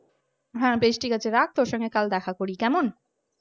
হ্যাঁ, বেশ ঠিক আছে রাখ তোর সঙ্গে কাল দেখা করি। কেমন